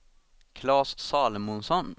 Claes Salomonsson